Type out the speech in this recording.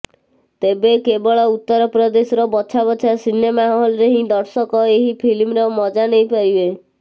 ତେବେ କେବଳ ଉତ୍ତରପ୍ରଦେଶର ବଛାବଛା ସିନେମା ହଲରେ ହିଁ ଦର୍ଶକ ଏହି ଫିଲ୍ମର ମଜା ନେଇପାରିବେ